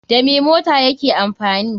Da me mota yake amfani